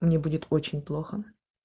мне будет очень плохо